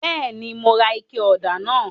Bẹẹni, Mo rà ike ọda náà